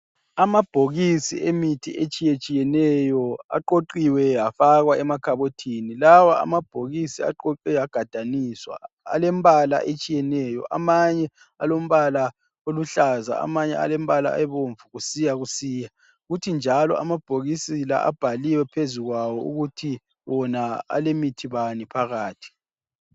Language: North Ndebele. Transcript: Amabhokisi emithi etshiyetshiyeneyo aqoqiwe afakwa emakhabothini lawa amabhokisi aqoqwe agadaniswa alembala etshiyeneyo. Amanye alombala oluhlaza amanye alembala ebomvu kusiyakusiya. Kuthi njalo amabhokisi la abhaliwe phezu kwawo ukuthi wona alemithi bani phakathi.